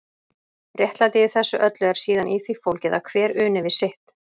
Réttlætið í þessu öllu er síðan í því fólgið að hver uni við sitt.